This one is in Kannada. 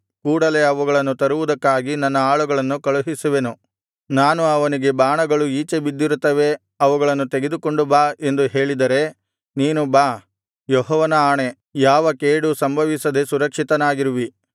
ತರುವುದಕ್ಕಾಗಿ ನನ್ನ ಆಳುಗಳನ್ನು ಕಳುಹಿಸುವೆನು ನಾನು ಅವನಿಗೆ ಬಾಣಗಳು ಈಚೆ ಬಿದ್ದಿರುತ್ತವೆ ಅವುಗಳನ್ನು ತೆಗೆದುಕೊಂಡು ಬಾ ಎಂದು ಹೇಳಿದರೆ ನೀನು ಬಾ ಯೆಹೋವನ ಆಣೆ ಯಾವ ಕೇಡು ಸಂಭವಿಸದೆ ಸುರಕ್ಷಿತನಾಗಿರುವಿ